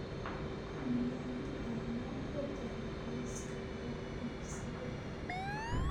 Miyaan caano ku daray liiska wax iibsiga?